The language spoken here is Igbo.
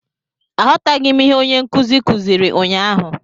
Aghọtaghị m ihe onye nkuzi kuziri ụnyahụ